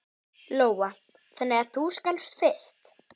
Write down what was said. Lóa: Þannig að þú skalfst fyrst?